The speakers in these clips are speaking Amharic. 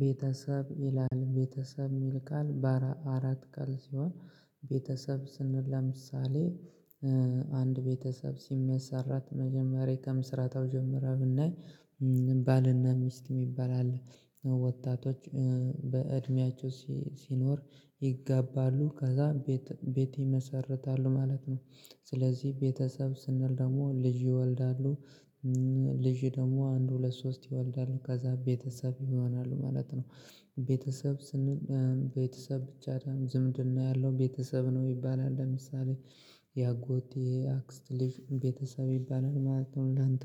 ቤተሰብ ይላል ቤተሰብ የሚል ቃል በአራት ቃል ሲሆን ቤተሰብ ስንል ለምሳሌ አንድ ቤተሰብ ሲመሰረት መጀመሪያ ከምስረታው ጀምረህ ብናይ ባልና ሚስት የሚባል አለ ወጣቶች በእድሜያቸው ሲኖር ይጋባሉ ከዛ ቤት ቤት ይመሰርታሉ ማለት ነው። ስለዚህ ቤተሰብ ስንል ደግሞ ልጅ ይወልዳሉ ልጅ ደግሞ አንድ ሁለት ሶስት ይወልዳሉ ከዛ ቤተሰብ ይሆናሉ ማለት ነው። ቤተሰብ ስንል ቤተሰብ ብቻ አይደለም ዝምድና ያለው ቤተሰብ ነው ይባላል ለምሳሌ የአጎቴ አክስት ልጅ ቤተሰብ ይባላል ማለት ነው። እንዳንተ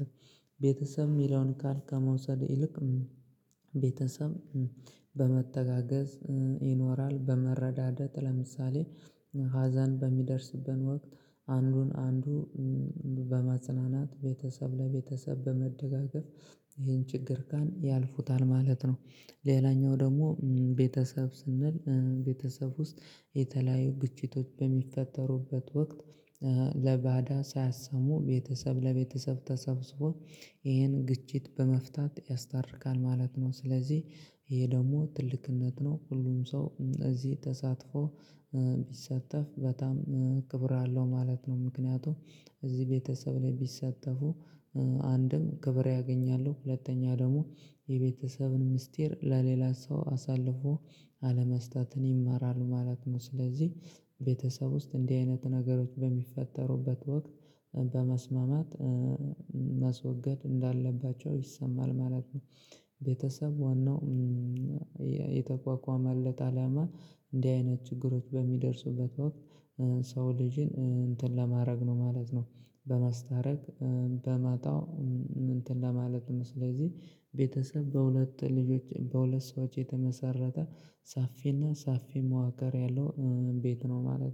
ቤተሰብ የሚለውን ቃል ከመውሰድ ይልቅ ቤተሰብ በመተጋገዝ ይኖራል በመረዳደት ለምሳሌ ሀዘን በሚደርስብን ወቅት አንዱን አንዱ በማጽናናት ቤተሰብ ለቤተሰብ በመደጋገፍ ይሄን ችግር ቀን ያልፉታል ማለት ነው። ሌላኛው ደግሞ ቤተሰብ ስንል ቤተሰብ ውስጥ የተለያዩ ግጭቶች በሚፈጠሩበት ወቅት ለባዳ ሳያሰሙ ቤተሰብ ለቤተሰብ ተሰብስቦ ይሄን ግጭት በመፍታት ያስታርቃል ማለት ነው። ስለዚህ ይሄ ደግሞ ትልቅነት ነው ሁሉም ሰው እዚህ ተሳትፎ ቢሳተፍ በጣም ክብር አለው ማለት ነው። ምክንያቱም እዚህ ቤተሰብ ላይ ቢሳተፉ አንድም ክብር ያገኛሉ ሁለተኛ ደግሞ የቤተሰብን ምስጢር ለሌላ ሰው አሳልፎ አለመስጠትን ይማራል ማለት ነው። ስለዚህ ቤተሰብ ውስጥ እንዲህ አይነት ነገሮች በሚፈጠሩበት ወቅት በመስማማት ማስወገድ እንዳለባቸው ይሰማል ማለት ነው። ቤተሰብ ዋናው የተቋቋመለት አላማ እንዲህ አይነት ችግሮች በሚደርሱበት ወቅት ሰው ልጅን እንትን ለማድረግ ነው ማለት ነው። በማስታረቅ በማጣው እንትን ለማለት ነው ስለዚህ ቤተሰብ በሁለት ልጆች በሁለት ሰዎች የተመሰረተ ሰፊና ሰፊ መዋቅር ያለው ቤት ነው ማለት